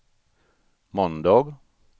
måndag